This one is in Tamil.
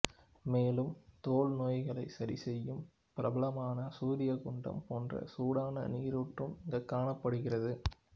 மேலும் தோல் நோய்களை சரிசெய்யும் பிரபலமான சூர்யா குண்டம் போன்ற சூடான நீரூற்றும் இங்கு காணப்படுகிறது